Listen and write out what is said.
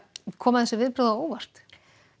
koma þessi viðbrögð á óvart